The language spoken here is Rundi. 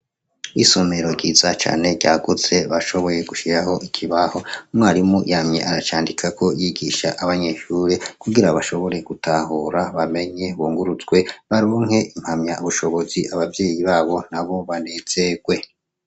Isomero ryiza cane bashoboye gushiraho ikibaho umwarimu yamye aracandikako yigishako abanyeshure kugira bashobore gutahura bamenye bunguruzwe baronke impamya bushobozi abavyeyi babo nabo banezerwe.